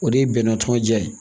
O de ye bɛnɛn tɔnɔnjan ye